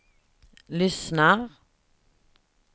lyssnar